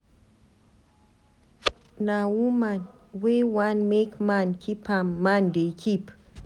Na woman wey wan make man keep am man dey keep.